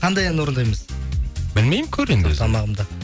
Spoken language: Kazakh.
қандай ән орындаймыз білмеймін көр енді өзің тамағым да